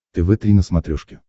тв три на смотрешке